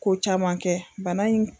Ko caman kɛ bana in.